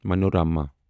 Manorama